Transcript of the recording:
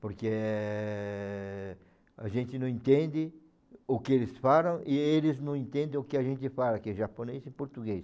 Porque eh a gente não entende o que eles falam e eles não entendem o que a gente fala, que é japonês e português.